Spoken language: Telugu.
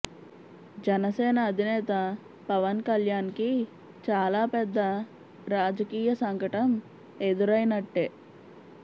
జనసేన అధినేత పవన్ కళ్యాణ్కి చాలా పెద్ద రాజకీయ సంకటం ఎదురైనట్టే